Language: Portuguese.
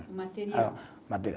O material. Material